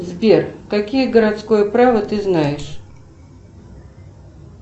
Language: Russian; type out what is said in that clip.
сбер какие городское право ты знаешь